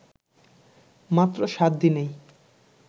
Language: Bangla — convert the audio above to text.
মাত্র সাত দিনেই